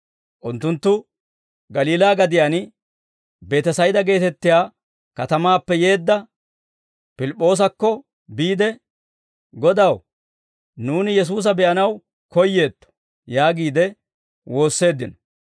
Unttunttu Galiilaa gadiyaan Beetesayda geetettiyaa katamaappe yeedda Pilip'p'oosakko biide, «Godaw, nuuni Yesuusa be'anaw koyeetto» yaagiide woosseeddino.